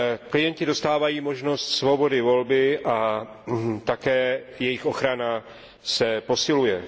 Klienti dostávají možnost svobody volby a také jejich ochrana se posiluje.